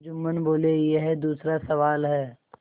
जुम्मन बोलेयह दूसरा सवाल है